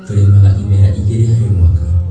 Tũrĩmaga imera igĩrĩ harĩ mwaka.